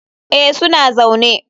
Eh, suna zaune.